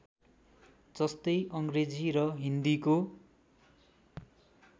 जस्तै अङ्ग्रेजी र हिन्दीको